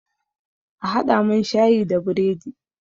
A haɗa mun shayi da biredi!